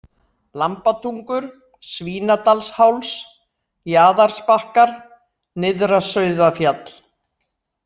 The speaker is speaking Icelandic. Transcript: Lambatungur, Svínadalsháls, Jaðarsbakkar, Nyrðra-Sauðafjall